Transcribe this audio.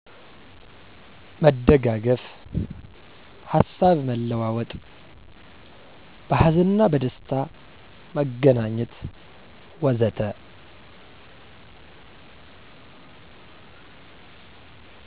መደጋገፍ፣ ሀሳብ መለዋወጥ፣ በሀዘንና በደስታ መገናኘት ወዘተ።